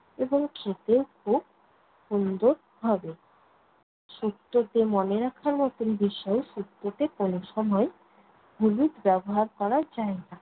এবং খেতেও খুব সুন্দর হবে। শুক্তোতে মনে রাখার মতন বিষয়, শুক্তোতে কোনো সময় হলুদ ব্যবহার করা যায়না।